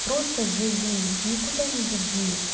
просто живи никуда не беги